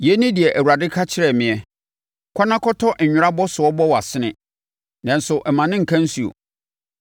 Yei ne deɛ Awurade ka kyerɛɛ meɛ, “Kɔ na kɔtɔ nwera abɔsoɔ bɔ wʼasene, nanso mma no nka nsuo.”